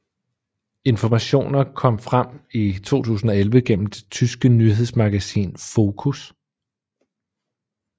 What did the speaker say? Informationer kom frem i 2011 gennem det tyske nyhedsmagasin Focus